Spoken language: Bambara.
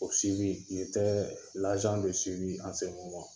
O ..